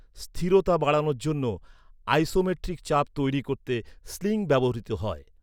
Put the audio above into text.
স্থিরতা বাড়ানোর জন্য আইসোমেট্রিক চাপ তৈরি করতে স্লিং ব্যবহৃত হয়।